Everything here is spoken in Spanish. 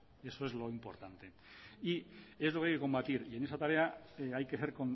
eso es lo importante y eso hay que combatir y en esa tarea hay que ser